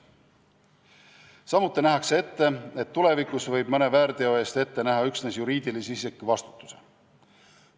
Samuti nähakse ette, et tulevikus võib mõne väärteo eest ette näha üksnes juriidilise isiku vastutuse.